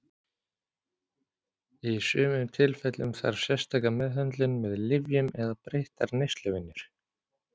Í sumum tilfellum þarf sérstaka meðhöndlun með lyfjum eða breyttar neysluvenjur.